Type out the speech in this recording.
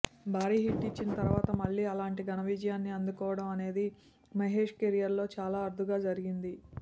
భారీ హిట్ ఇచ్చిన తర్వాత మళ్లీ అలాంటి ఘన విజయాన్ని అందుకోవడం అనేది మహేష్ కెరియర్లో చాలా అరుదుగా జరిగింది